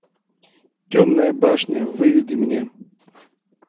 темная башня выведи мне